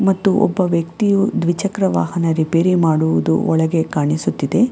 ಮತ್ತು ಒಬ್ಬ ವ್ಯಕ್ತಿಯು ದ್ವಿಚಕ್ರ ವಾಹನ ರಿಪೇರಿ ಮಾಡುವುದು ಒಳಗೆ ಕಾಣಿಸುತ್ತಿದೆ.